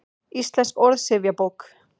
Íslensk orðsifjabók.